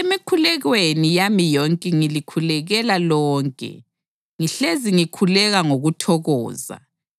Emikhulekweni yami yonke ngilikhulekela lonke, ngihlezi ngikhuleka ngokuthokoza